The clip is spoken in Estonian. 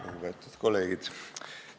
Lugupeetud kolleegid!